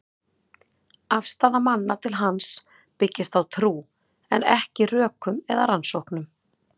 Afstaða manna til hans byggist á trú, en ekki rökum eða rannsóknum.